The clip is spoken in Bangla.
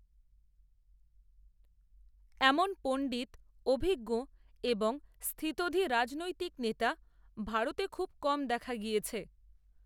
এমন পণ্ডিত, অভিজ্ঞ এবং, স্থিতধী রাজনৈতিক নেতা, ভারতে খুব কম দেখা গিয়েছে